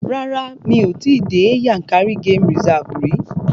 Rárá, mi ò tí dé Yankari game reserve rí.